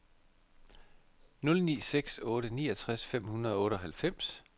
nul ni seks otte niogtres fem hundrede og otteoghalvfems